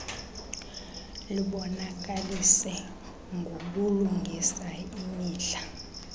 libonakalise ngobulungisa imidla